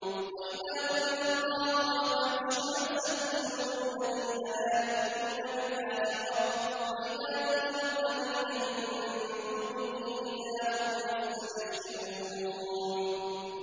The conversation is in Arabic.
وَإِذَا ذُكِرَ اللَّهُ وَحْدَهُ اشْمَأَزَّتْ قُلُوبُ الَّذِينَ لَا يُؤْمِنُونَ بِالْآخِرَةِ ۖ وَإِذَا ذُكِرَ الَّذِينَ مِن دُونِهِ إِذَا هُمْ يَسْتَبْشِرُونَ